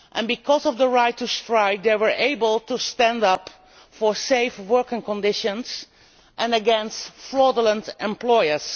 Because of the right to strike they were able to stand up for safe working conditions and against fraudulent employers.